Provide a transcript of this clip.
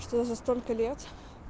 что за столько лет